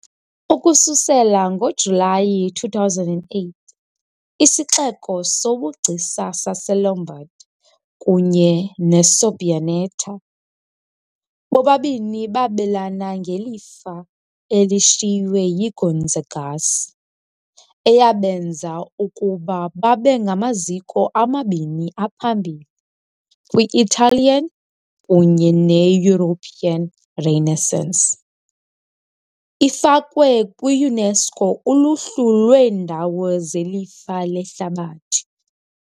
Ukususela ngoJulayi 2008, isixeko sobugcisa saseLombard, kunye neSabbioneta, bobabini babelana ngelifa elishiywe yiGonzagas eyabenza ukuba babe ngamaziko amabini aphambili kwi-Italian kunye ne-European Renaissance, ifakwe kwi-UNESCO uluhlu lweendawo zelifa lehlabathi.